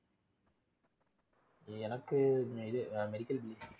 எனக்கு இது ஆஹ் medical